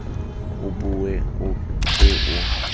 o bue o ke o